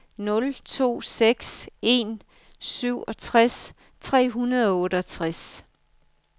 nul to seks en syvogtres tre hundrede og otteogtres